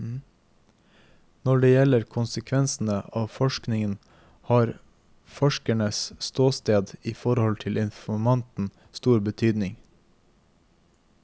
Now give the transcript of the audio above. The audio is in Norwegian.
Når det gjelder konsekvensene av forskningen, har forskerens ståsted i forhold til informanten stor betydning.